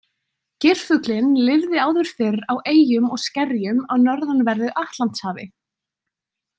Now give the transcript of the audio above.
Geirfuglinn lifði áður fyrr á eyjum og skerjum á norðanverðu Atlantshafi.